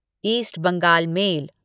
east Bengal mail